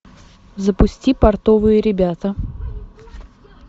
запусти портовые ребята